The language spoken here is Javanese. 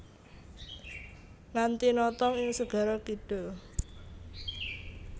Nganti notog ing segara kidul